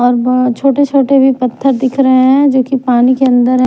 और बहुत छोटे-छोटे भी पत्थर दिख रहे हैं जो कि पानी के अंदर है।